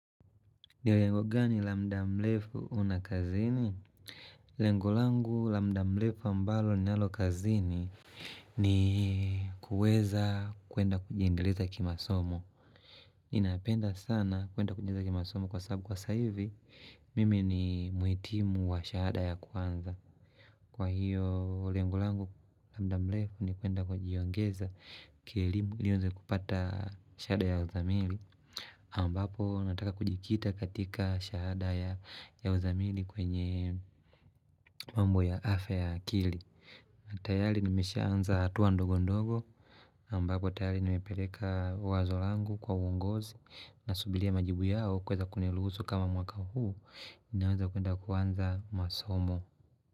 Nilengo gani la mda mlefu unakazini? Lengo langu lamda mlefu ambalo ni nalo kazini ni kuweza kuenda kujiendeleza kimasomo Inapenda sana kuenda kujiendeleza kimasomo kwa sabu kwa sahivi Mimi ni muitimu wa shahada ya kwanza Kwa hiyo lengo langu lamda mlefu ni kuenda kujiongeza kili niweze kupata shahada ya uzamili ambapo nataka kujikita katika shahada ya uzamili kwenye mambo ya afe ya kili tayari nimesha anza hatuwa ndogo ndogo ambapo tayari nimepeleka wazolangu kwa uongozi na subilia majibu yao kweza kuniruhusu kama mwaka huu Ninaweza kuenda kuanza masomo.